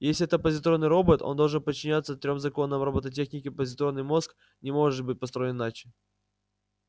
если это позитронный робот он должен подчиняться трём законам роботехники позитронный мозг не может быть построен иначе